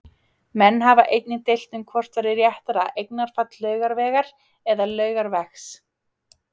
Menn hafa einnig deilt um hvort væri réttara eignarfall Laugavegar eða Laugavegs.